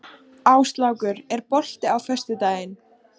Áslákur, er bolti á föstudaginn?